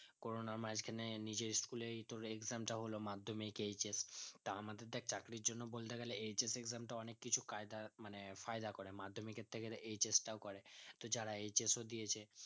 corona মাজখানে নিজের school তোর exam টা হলো madhamikHS তা আমাদের দেখ চাকরির জন্য বলতে গেলে HSexam টা অনিক কিছু কায়দা মানে ফায়দা করে madhyamik এর থেকে বেশি HS টাও করে তো যারা HS ও দিয়েছে